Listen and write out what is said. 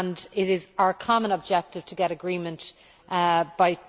It is our common objective to get an agreement